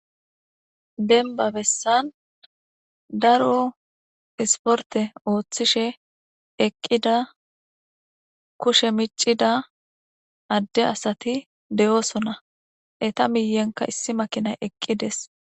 benba bessan daro isporte ooththishe eqqida kushe micida adde asati de7oosona eta miyenka issi makinay eqqides